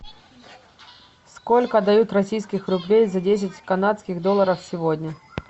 сколько дают российских рублей за десять канадских долларов сегодня